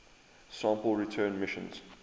sample return missions